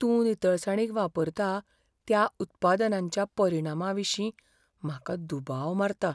तूं नितळसाणीक वापरता त्या उत्पादनांच्या परिणामाविशीं म्हाका दुबाव मारता.